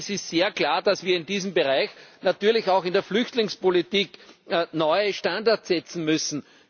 Es ist sehr klar, dass wir in diesem Bereich, natürlich auch in der Flüchtlingspolitik, neue Standards setzen müssen.